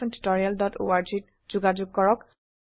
অংশগ্ৰহনৰ বাবে ধন্যবাদ